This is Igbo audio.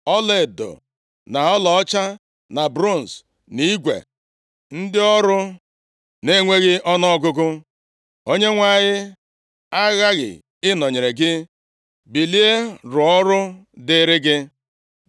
ọlaedo, na ọlaọcha, na bronz, na igwe, ndị ọrụ nʼenweghị ọnụọgụgụ. Onyenwe anyị aghaghị ịnọnyere gị. Bilie, rụọ ọrụ dịịrị gị.”